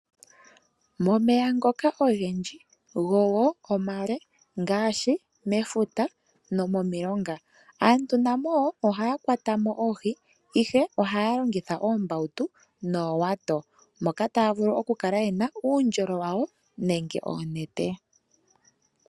Momeya ngoka ogendji go omale, ngaashi mefuta nomomilonga, aantu na mo wo ohaya kwata mo oohi, ihe ohaya longitha oombautu noowato. Moka taya vulu okukala ye na uundjolo wawo noonete.